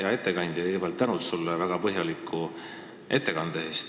Hea ettekandja, kõigepealt suur tänu väga põhjaliku ettekande eest!